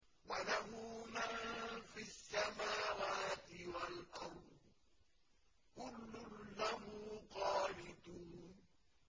وَلَهُ مَن فِي السَّمَاوَاتِ وَالْأَرْضِ ۖ كُلٌّ لَّهُ قَانِتُونَ